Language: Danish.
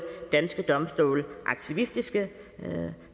danske domstole aktivistiske